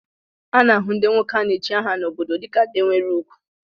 A na-ahụ ndị nwoke a na-echi aha n'obodo dịka ndị nwere ugwu